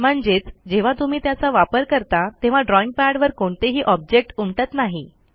म्हणजेच जेव्हा तुम्ही त्याचा वापर करता तेव्हा ड्रॉईंग पॅडवर कोणतेही ऑब्जेक्ट उमटत नाही